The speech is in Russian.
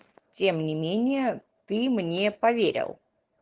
тем не менее ты мне поверил